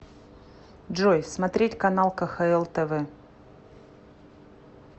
джой смотреть канал кхл тв